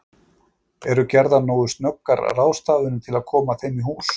Eru gerðar nógu snöggar ráðstafanir til að koma þeim í hús?